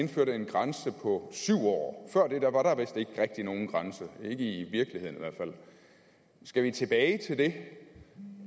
indførte en grænse på syv år før det var der vist ikke rigtig nogen grænse ikke i virkeligheden i skal vi tilbage til det